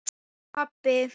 Ég pabbi!